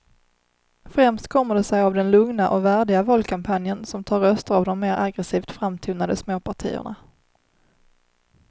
Främst kommer det sig av den lugna och värdiga valkampanjen som tar röster av de mer aggresivt framtonade småpartierna.